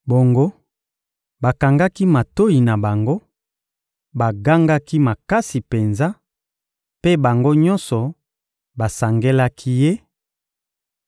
Bongo, bakangaki matoyi na bango, bagangaki makasi penza, mpe bango nyonso basangelaki ye,